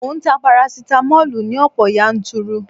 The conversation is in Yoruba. Mò ń ta parasitamoli ní ọ̀pọ̀ yanturu